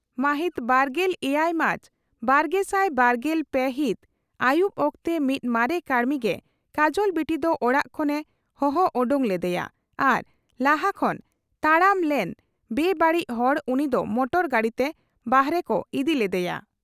ᱢᱟᱦᱤᱛ ᱵᱟᱨᱜᱮᱞ ᱮᱭᱟᱭ ᱢᱟᱨᱪ ᱵᱟᱨᱜᱮᱥᱟᱭ ᱵᱟᱨᱜᱮᱞ ᱯᱮ ᱦᱤᱛ ᱟᱹᱭᱩᱵ ᱚᱠᱛᱮ ᱢᱤᱫ ᱢᱟᱨᱮ ᱠᱟᱹᱲᱢᱤ ᱜᱮ ᱠᱟᱡᱚᱞ ᱵᱤᱴᱤ ᱫᱚ ᱚᱲᱟᱜ ᱠᱷᱚᱱ ᱮ ᱦᱚᱦᱚ ᱚᱰᱚᱠ ᱞᱮᱫᱮᱭᱟ ᱟᱨ ᱞᱟᱦᱟ ᱠᱷᱚᱱ ᱛᱟᱬᱟᱢ ᱞᱮᱱ ᱵᱮᱼᱵᱟᱹᱲᱤᱡ ᱦᱚᱲ ᱩᱱᱤ ᱫᱚ ᱢᱚᱴᱚᱨ ᱜᱟᱹᱰᱤ ᱛᱮ ᱵᱟᱦᱨᱮ ᱠᱚ ᱤᱫᱤ ᱞᱮᱫᱮᱭᱟ ᱾